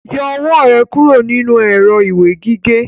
Yọ ọwọ́ rẹ kúrò nínú èrọ ìwé gígé!